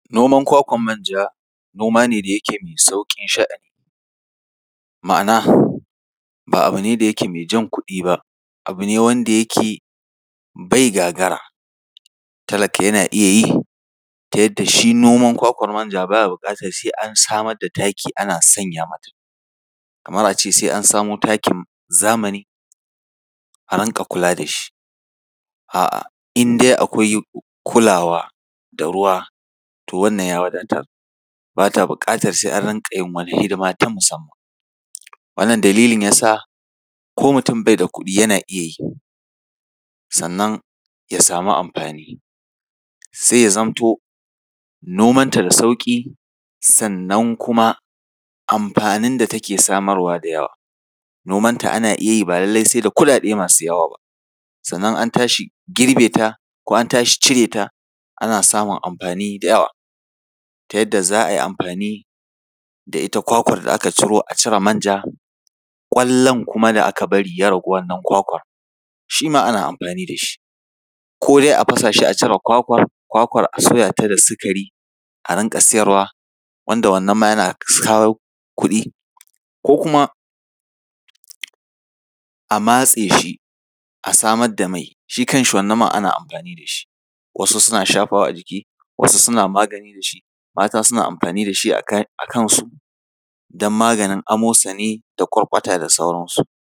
Noman kwakwar manja, noma ne da yake mai sauƙin sha’ani. Ma’ana, ba abu ne da yake jan kuɗi ba, abu ne wanda yake bai gagara, talaka yana iya yi, ta yadda shi noman kwakwar manja ba ya buƙatar sai an samar da taki ana sanya mata. Kamar a ce sai an samo takin zamani, a rinƙa kula da shi, a’a, in dai akwai kulawa da ruwa, to wannan ya wadatar, ba ta buƙatar sai an rinƙa yin wata hidima ta musamman. Wannan dalilin ya sa ko mutum bai da kuɗi, yana iya yi, sannan ya samu amfani. Sai ya zamto nomanta da sauƙi, sannan kuma amfanin da take samarwa na da yawa. Nomanta ana iya yi, ba lallai sai da kuɗaɗe masu yawa ba. Sannan an tashi girbe ta, ko an tashi cire ta, ana samun amfani da yawa, ta yadda za a yi amfai da ita kwakwar da aka ciro a cire manja, ƙwallon kuma da aka bari ya ragu wannan kwakwar, shi ma ana amfani da shi. Ko dai a fasa shi a cire kwakwar, a sya ta da sikari, a rinƙa siyarwa, wanda wannan ma yana kawo kuɗi, ko kuma a matse shi, a samar da mai, shi kanshi wannan man ana amfani da shi. Wasu suna shafawa a jiki, wasu suna magani da shi. Matasuna amfani da shi a kansu don maganin amosani da ƙwarƙwata da sauransu.